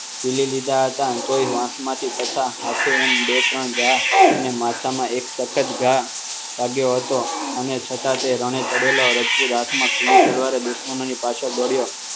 જીલી લીધા હતા તોય વાંસમાંથી તથા આજે એમ બે ત્રણ ઘાટ અને માથામાં એક સફેદ ઘા વાગ્યો હતો અને છતાં તે રણે ચડેલો રાજપૂત આત્મા ખુલ્લી તલવારે દુશ્મનોની પાછળ દોડ્યો